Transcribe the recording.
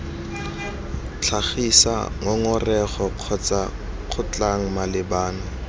tlhagisa ngongorego kgotsa kgotlhang malebana